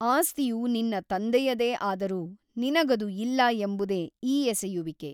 ಆಸ್ತಿಯು ನಿನ್ನ ತಂದೆಯದೇ ಆದರೂ ನಿನಗದು ಇಲ್ಲ ಎಂಬುದೇ ಈ ಎಸೆಯುವಿಕೆ.